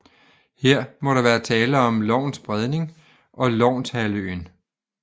Her må der være tale om Louns Bredning og Lounshalvøen